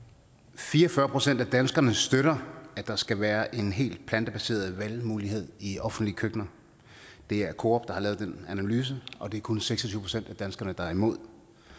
fire og fyrre procent af danskerne støtter at der skal være en helt plantebaseret valgmulighed i offentlige køkkener det er coop der har lavet den analyse og det er kun seks og tyve procent af danskerne der er imod